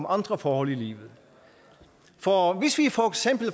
andre forhold i livet for hvis vi